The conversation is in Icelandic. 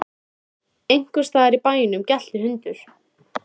Einhvers staðar í bænum gelti hundur.